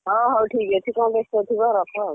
ହଁ ହଉ ଠିକ୍ ଅଛି କଣ ବେସ୍ତ ଥିବ ରଖ ଆଉ।